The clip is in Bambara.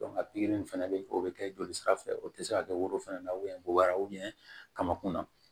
pikiri fana bɛ yen o bɛ kɛ jolisira fɛ o tɛ se ka kɛ woro fana na ko wɛrɛ kamankunna